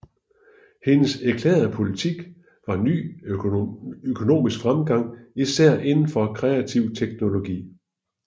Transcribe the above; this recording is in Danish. Hendes erklærede politik var ny økonomisk fremgang især indenfor kreativ teknologi